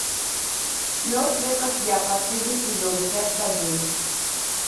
мертвые как я последний сезон часть один